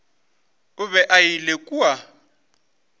o be a ile kua